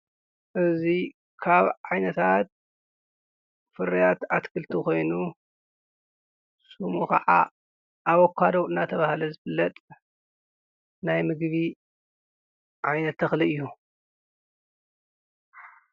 እዙይ ካብ ዓይነታት ፍርያት ኣትክልቲ ኾይኑ ስሙ ኸዓ ኣወካዶዉ እናተብሃለ ዘብለጥ ናይ ምጊቢ ዓይነ ተኽሊ እዩ።